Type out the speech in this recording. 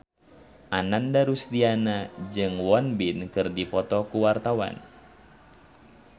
Ananda Rusdiana jeung Won Bin keur dipoto ku wartawan